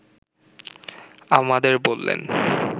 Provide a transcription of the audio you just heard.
আমাদের বললেন